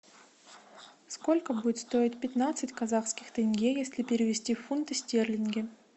сколько будет стоить пятнадцать казахских тенге если перевести в фунты стерлинги